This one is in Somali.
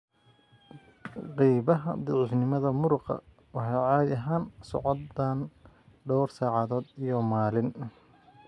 Qaybaha daciifnimada muruqa waxay caadi ahaan socdaan dhowr saacadood iyo maalin.